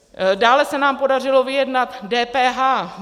Dále se nám podařilo vyjednat DPH.